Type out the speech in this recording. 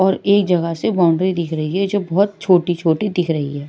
और एक जगह से बाउंड्री दिख रही है जो बहुत छोटी-छोटी दिख रही है।